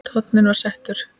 Tónninn var settur.